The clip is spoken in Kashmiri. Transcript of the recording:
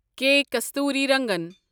کے کستوریرنگن